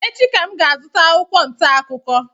Echi ka m ga-azụta akwụkwọ ntaakụkọ